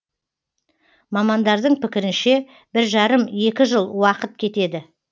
мамандардың пікірінше бір жарым екі жыл уақыт кетеді